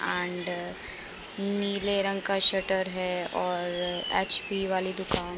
आँड नीले रंग का शटर है और एच.पी. वाली दुकान है।